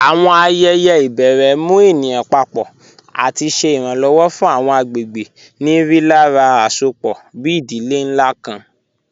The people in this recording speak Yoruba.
Awọn ayẹyẹ ibèrè mù ènìyàn pàpọ̀ àti ṣè iranlọwọ̀ fún awọn agbegbe ni rílàrá àṣọpọ̀, bí ìdílé nlá kàn.